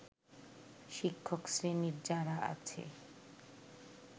শিক্ষকশ্রেণীর যারা আছে